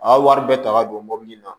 A wari bɛɛ ta ka don mɔbili la